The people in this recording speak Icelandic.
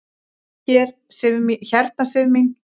Hérna Sif mín.